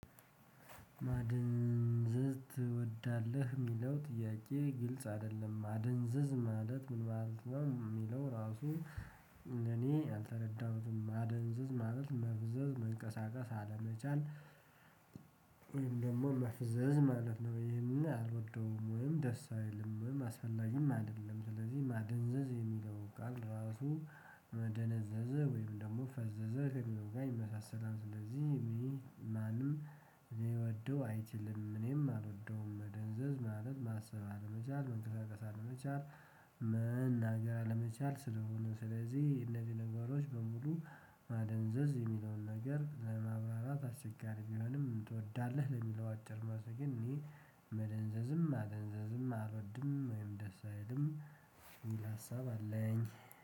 ማደንዘዝ ትወዳለህ ለሚለው ጥያቄ ግልጽ አይደለም ማደንዘዝ ማለት ምን ማለት ነው? ራሱ እኔ አልተረዳሁትም ማደንዝዝ ማለት መፍዘዝ መንቀሳቀስ አለመቻል። ወይም ደግሞ መፍዘዝ ማለት ነው። ይሄንን አልወደውም ወይም ደስ አይልም ወይም አስፈላጊም አይደለም። ስለዚህ ማደንዘዝ የሚለው ቃል ራሱ መደነዘዘ ወይም ደግሞ ፈዘዘ ከሚለው ጋር ይመሳሰላል። ስለዚህ ማንም ሊወደው አይችልም። እኔም አልወደውም መደንዘዝ ማለት ማሰብ አለመቻል መንቀሳቀስ አለመቻል። መናገር አለመቻል ስለሆነ ስለዚህ እነዚህ ነገሮች በሙሉ። ማደንዘዝ የሚለውን ነገር ለማብራራት አስቸጋሪ ቢሆንም ትወዳለህ ለሚለው አጭር መልስ ግን እኔ መደንዘዝም ማደንዛዘም አልወድም ወይም ደስ አይልም። የሚል ሀሳብ አለኝ።